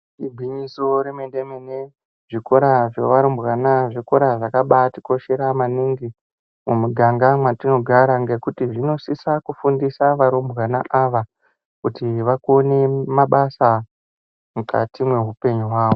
Igwinyiso remene mene zvikora zvevarumbwana zvikora zvakabaatikoshera maningi mumuganga matinogara ngekuti zvinosisa kufundisa varumbwana ava kuti vakone mabasa mukati mwehupenyu hwavo.